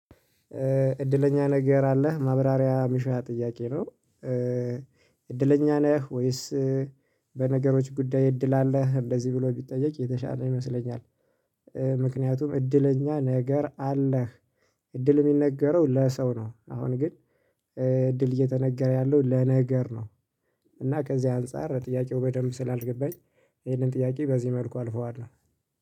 እድለኛ ነገር አለህ ማብራሪያ ሚሻ ጥያቄ ነው? እድለኛ ነህ ወይስ በነገሮች ጉዳይ እድል አለ እንደዚህ ብሎ ቢጠየቅ የተሻለ ይመስለኛል። ምክንያቱም እድለኛ ነገር አለህ እድል የሚነገረው ለሰው ነው። አሁን ግን እድል እየተነገረ ያለው ለነገር ነው። እና ከዚህ አንፃር ጥያቄው በደንብ ስላልገባኝ ይሄንን ጥያቄ በዚህ መልኩ አልፈዋለሁ።